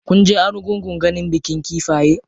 Kunje argungun ganin bikin kifaye?